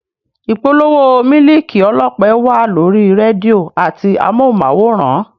Ìpolówó mílìkì ọlọ́pẹ wà lórí rédíò àti amóhùnmáwòrán